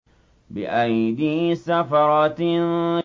بِأَيْدِي سَفَرَةٍ